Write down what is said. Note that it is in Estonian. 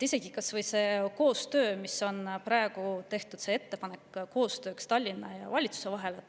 Kas või selle koostöö puhul Tallinna ja valitsuse vahel, milleks on praegu tehtud ettepanek.